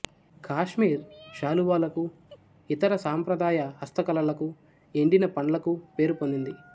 కాశ్మీర్ శాలువాలకు ఇతర సాంప్రదాయ హస్తకళలకు ఎండిన పండ్లకు పేరుపొందింది